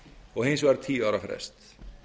og hins vegar tíu ára frest